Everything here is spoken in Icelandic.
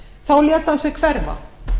þá lét hann sig hverfa